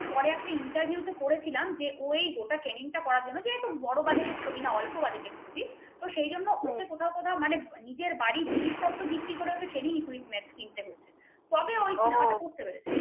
পরে একটা interview তে পড়েছিলাম ওই গোটা train টা করার জন্য যেহেতু বড় বাজারের ছবি না অল্প budget র ছবি সেজন্য কোথাও কোথাও মানে নিজের বাড়ি জিনিসপত্র বিক্রি করে training equipment কিনতে হয়েছে তবে ওই cinema টা করতে পেরেছে ও